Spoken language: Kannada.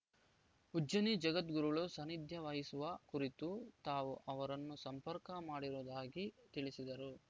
ಉಜ್ಜನಿ ಜಗದ್ಗುರುಗಳು ಸಾನ್ನಿಧ್ಯವಹಿಸುವ ಕುರಿತು ತಾವು ಅವರನ್ನು ಸಂಪರ್ಕ ಮಾಡಿರುವುದಾಗಿ ತಿಳಿಸಿದರು